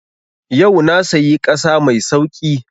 Yau na sayi ƙasa mai sauƙi